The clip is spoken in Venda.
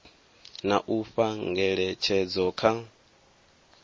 na u fha ngeletshedzo kha